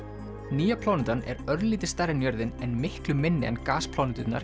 nýja plánetan er örlítið stærri en jörðin en miklu minni en